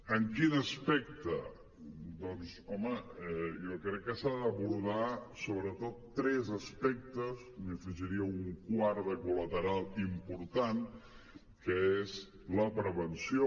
en quin aspecte doncs home jo crec que s’han d’abordar sobretot tres aspectes i n’hi afegiria un quart de col·lateral important que és la prevenció